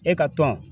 E ka tɔn